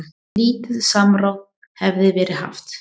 Lítið samráð hefði verið haft.